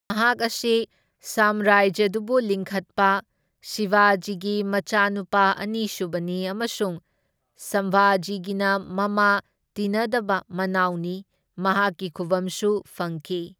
ꯃꯍꯥꯛ ꯑꯁꯤ ꯁꯥꯝꯔꯖ꯭ꯌꯗꯨꯕꯨ ꯂꯤꯡꯈꯠꯄ ꯁꯤꯕꯥꯖꯤꯒꯤ ꯃꯆꯥꯅꯨꯄꯥ ꯑꯅꯤꯁꯨꯕꯅꯤ ꯑꯃꯁꯨꯡ ꯁꯝꯚꯖꯤꯒꯤꯅ ꯃꯃꯥ ꯇꯤꯟꯅꯗꯕ ꯃꯅꯥꯎꯅꯤ, ꯃꯍꯥꯛꯀꯤ ꯈꯨꯚꯝꯁꯨ ꯐꯪꯈꯤ꯫